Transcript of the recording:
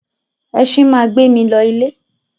Ẹṣin máa gbé mi lọ ilé.